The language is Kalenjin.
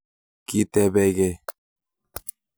Kitebekei